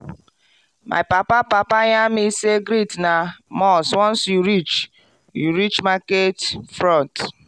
my papa papa yarn me say greet na must once you reach you reach market front.